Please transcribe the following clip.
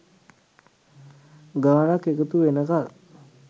ගානක් එකතු වෙනකල්.